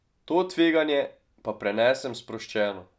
To tveganje pa prenesem sproščeno.